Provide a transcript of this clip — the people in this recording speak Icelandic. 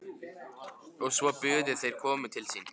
Og svo buðu þeir okkur til sín.